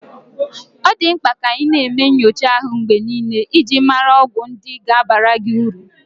Ọ dị mkpa ka ị na-eme nyocha ahu mgbe niile iji mara ọgwụ ndị ga-abara gị uru.